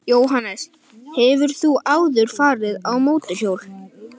Jóhannes: Hefur þú áður farið á mótorhjól?